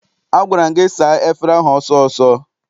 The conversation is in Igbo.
Agwara m gị saa efere ahụ ọsọ ọsọ!